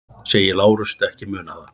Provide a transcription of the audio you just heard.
Segist Lárus ekki muna það.